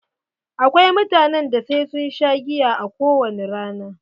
Akwai mutanen da sai sun sha giya a kowani rana.